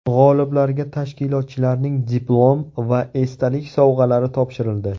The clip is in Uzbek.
G‘oliblarga tashkilotchilarning diplom va esdalik sovg‘alari topshirildi.